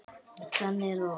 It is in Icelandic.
Þannig er það oft.